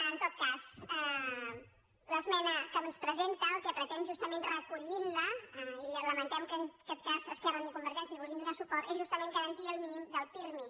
en tot cas l’esmena que ens presenta el que pretén justament recollint la i lamentem que en aquest cas ni esquerra ni convergència hi vulguin donar suport és justament garantir el mínim del pirmi